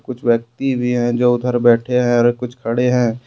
कुछ व्यक्ति भी है जो उधर बैठे हैं और कुछ खड़े हैं।